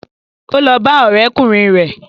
Ó lọ bá ọ̀rẹ́kùnrin rẹ̀